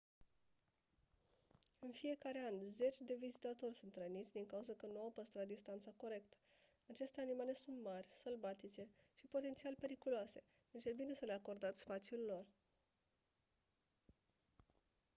în fiecare an zeci de vizitatori sunt răniți din cauză că nu au păstrat distanța corectă aceste animale sunt mari sălbatice și potențial periculoase deci e bine să le acordați spațiul lor